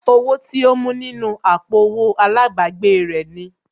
Owó tí ó mú nínú àpò owó àlábàgbèè rẹ̀ ni